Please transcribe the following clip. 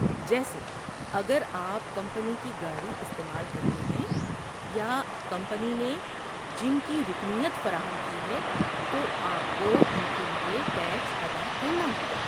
جیسے، اگر آپ کمپنی کی گاڑی استعمال کرتے ہیں یا کمپنی نے جم کی رکنیت فراہم کی ہے، تو آپ کو ان کے لیے ٹیکس ادا کرنا ہوگا۔